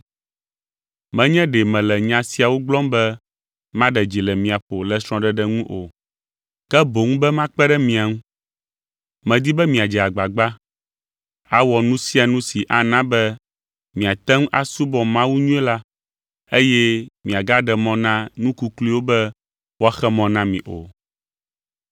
Menye ɖe mele nya siawo gblɔm be maɖe dzi le mia ƒo le srɔ̃ɖeɖe ŋu o, ke boŋ be makpe ɖe mia ŋu. Medi be miadze agbagba awɔ nu sia nu si ana be miate ŋu asubɔ Mawu nyuie la eye miagaɖe mɔ na nu kukluiwo be woaxe mɔ na mi o.